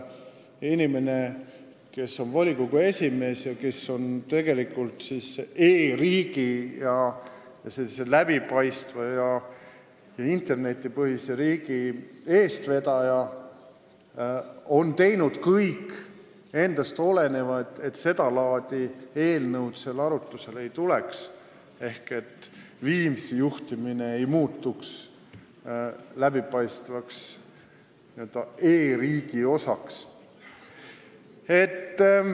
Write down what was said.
Inimene, kes on volikogu esimees ja tegelikult e-riigi, läbipaistva ja internetipõhise riigi eestvedaja, on teinud kõik endast oleneva, et seda laadi eelnõud seal arutlusele ei tuleks ehk Viimsi juhtimine ei muutuks läbipaistvaks ja e-riigi osaks.